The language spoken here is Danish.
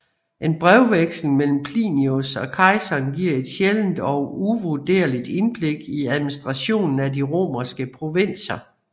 En brevveksling mellem Plinius og kejseren giver et sjældent og uvurderligt indblik i administrationen af de romerske provinser